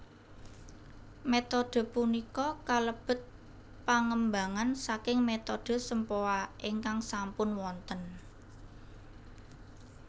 Metode punika kalebet pangembangan saking metode sempoa ingkang sampun wonten